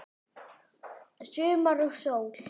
Sumar og sól.